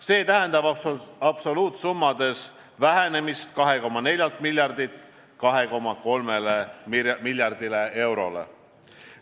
See tähendab absoluutsummades vähenemist 2,4 miljardilt 2,3 miljardile eurole.